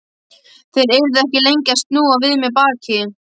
Þeir yrðu ekki lengi að snúa við mér baki.